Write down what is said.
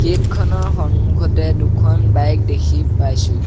Gate খনৰ সন্মুখতে দুখন বাইক দেখি পাইছোঁ।